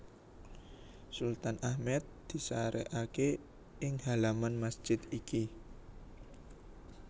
Sultan Ahmed disarèkaké ing halaman masjid iki